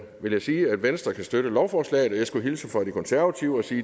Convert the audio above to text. vil jeg sige at venstre kan støtte lovforslaget og jeg skulle hilse fra de konservative og sige